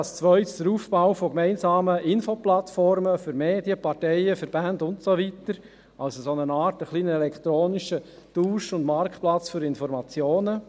als Zweites der Aufbau von gemeinsamen Infoplattformen für Medien, Parteien, Verbände und so weiter, also eine Art elektronischer Tausch- und Marktplatz für Informationen;